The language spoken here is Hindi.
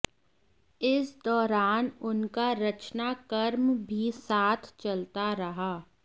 इस दौरान उनका रचना कर्म भी साथ चलता रहा